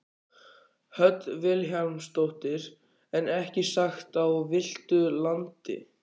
Hödd Vilhjálmsdóttir: En ekki sem sagt á villtu landi?